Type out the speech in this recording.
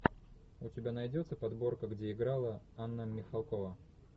у тебя найдется подборка где играла анна михалкова